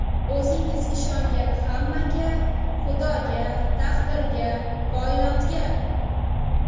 O‘zingiz ishongan hammaga: Xudoga, taqdirga, koinotga!